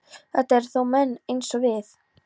Þetta eru þó menn eins og við.